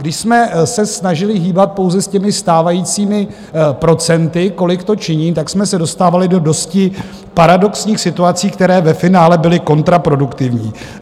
Když jsme se snažili hýbat pouze s těmi stávajícími procenty, kolik to činí, tak jsme se dostávali do dosti paradoxních situací, které ve finále byly kontraproduktivní.